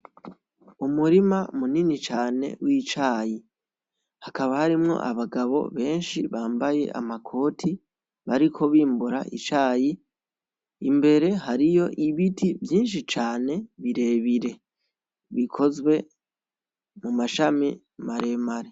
Umurima munini cane w'icayi, hakaba harimwo abagabo benshi bambaye amakoti bariko bimbura icayi, imbere hariyo ibiti vyinshi cane birebire, bikozwe mumashami maremare.